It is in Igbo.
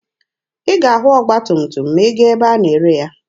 Ị ga-ahụ ọgba tum tum ma ị gaa ebe a na-ere ya.